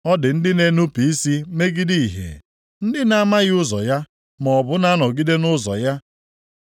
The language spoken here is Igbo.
“Ọ dị ndị na-enupu isi megide ìhè, ndị na-amaghị ụzọ ya maọbụ na-anọgide nʼụzọ ya.